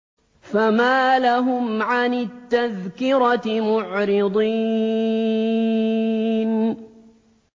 فَمَا لَهُمْ عَنِ التَّذْكِرَةِ مُعْرِضِينَ